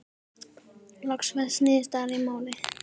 Loks fæst niðurstaða í málið.